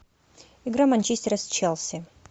игра манчестера с челси